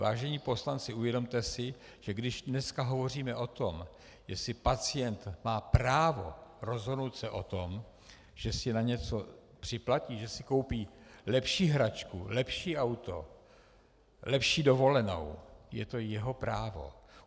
Vážení poslanci, uvědomte si, že když dneska hovoříme o tom, jestli pacient má právo rozhodnout se o tom, že si na něco připlatí, že si koupí lepší hračku, lepší auto, lepší dovolenou, je to jeho právo.